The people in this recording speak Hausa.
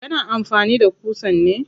Kana amfani da ƙusan ne?